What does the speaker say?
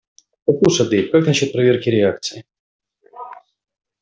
послушай дейв как насчёт проверки реакций